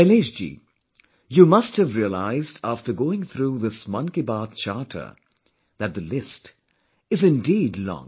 Shailesh ji, you must have realized after going through this Mann Ki Baat Charter that the list is indeed long